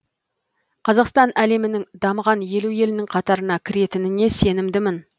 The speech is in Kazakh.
қазақстан әлемнің дамыған елу елінің қатарына кіретініне сенімдімін